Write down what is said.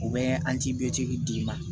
U bɛ d'i ma